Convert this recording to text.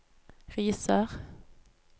Risør